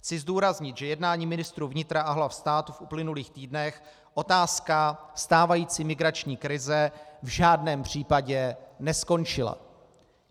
Chci zdůraznit, že jednáním ministrů vnitra a hlav států v uplynulých týdnech otázka stávající migrační krize v žádném případě neskončila.